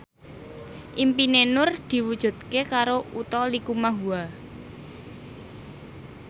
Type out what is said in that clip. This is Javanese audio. impine Nur diwujudke karo Utha Likumahua